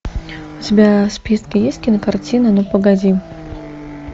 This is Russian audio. у тебя в списке есть кинокартина ну погоди